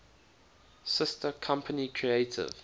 sister company creative